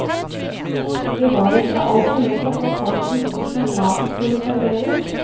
Det var ikke alltid lett å få folk til bords når maten skulle serveres.